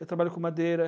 Eu trabalho com madeira.